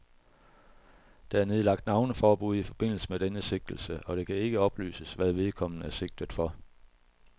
Der er nedlagt navneforbud i forbindelse med denne sigtelse, og det kan ikke oplyses, hvad vedkommende er sigtet for.